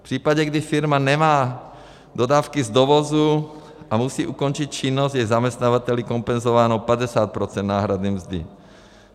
V případě, kdy firma nemá dodávky z dovozu a musí ukončit činnost, je zaměstnavateli kompenzováno 50 % náhrady mzdy.